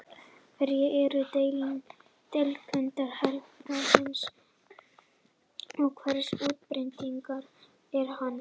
Hverjar eru deilitegundir hlébarðans og hversu útbreiddur er hann?